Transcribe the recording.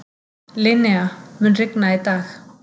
Linnea, mun rigna í dag?